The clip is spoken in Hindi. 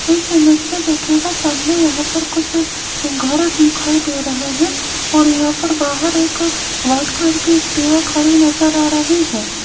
इस इमेज में देखिएगा सामने यहां पर कुछ घर दिखाई दे रहे हैं और यहां पर बाहर एक व्हाइट कलर की एक्टिवा खड़ी नजर आ रही है।